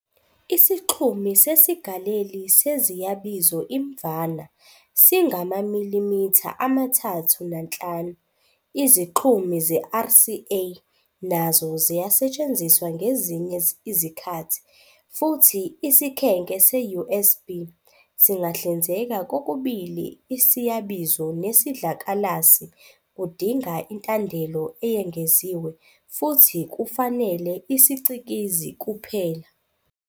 Isixhumi sesigaleli seziyabizo imvama singamamilimitha amathathu nanhlanu, izixhumi ze-RCA nazo ziyasetshenziswa ngezinye izikhathi, futhi isikhenke se-USB singahlinzeka kokubili isiyabizo nesidlakalasi, kudinga intandelo eyengeziwe, futhi kufanele isicikizi kuphela.